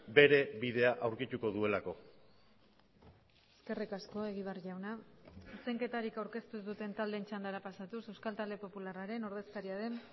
bere bidea aurkituko duelako eskerrik asko egibar jauna zuzenketarik aurkeztu ez duten taldeen txandara pasatuz euskal talde popularraren ordezkaria den